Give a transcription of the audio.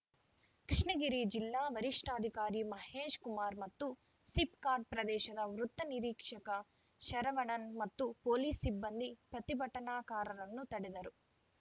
ಕೃಷ್ಣಗಿರಿ ಜಿಲ್ಲಾ ವರಿಷ್ಠಾಧಿಕಾರಿ ಮಹೇಶ್‌ ಕುಮಾರ್‌ ಮತ್ತು ಸಿಪ್‌ಕಾಟ್‌ ಪ್ರದೇಶದ ವೃತ್ತ ನಿರೀಕ್ಷಕ ಶರವಣನ್‌ ಮತ್ತು ಪೊಲೀಸ್‌ ಸಿಬ್ಬಂದಿ ಪ್ರತಿಭಟನಾಕಾರರನ್ನು ತಡೆದರು